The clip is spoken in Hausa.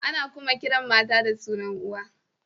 Ana kuma kiran mata da sunan uwa.